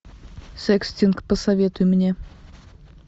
секстинг посоветуй мне